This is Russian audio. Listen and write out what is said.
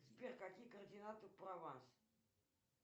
сбер какие координаты прованс